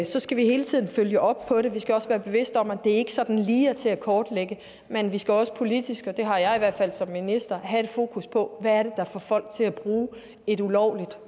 skal vi hele tiden følge op på det vi skal også være bevidste om at det ikke sådan lige er til at kortlægge men vi skal også politisk og det har jeg i hvert fald som minister have et fokus på hvad det er der får folk til at bruge et ulovligt